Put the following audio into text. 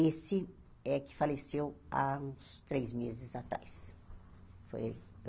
Esse é que faleceu há uns três meses atrás. Foi aí